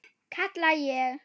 kalla ég.